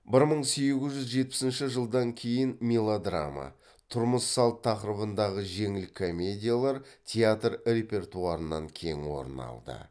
бір мың сегіз жүз жетіпісінші жылдан кейін мелодрама тұрмыс салт тақырыбындағы жеңіл комедиялар театр репертуарынан кең орын алды